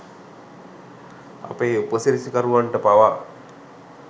අපේ උපසිරැසිකරුවන්ට පවා